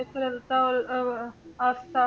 ਸਰਲਤਾ ਔਰ ਅਹ ਅਤੇ ਆਸਥਾ